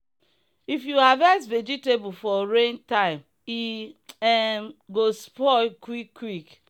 if you harvest vegetable for rain time e um go spoil quick quick.